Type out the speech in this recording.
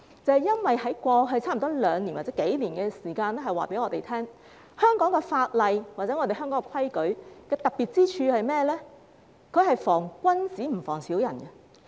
這是因為過去兩年或幾年的時間告訴我們，香港法例或規矩的特別之處是防君子而不防小人。